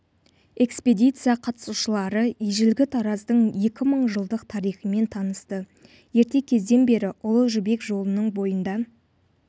экспедиция қатысушылары ежелгі тараздың екі мың жылдық тарихымен танысты ерте кезден бері ұлы жібек жолының бойында